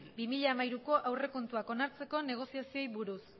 bi mila hamairuko aurrekontuak onartzeko negoziazioei buruz